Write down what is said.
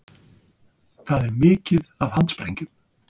Það er mikið af handsprengjum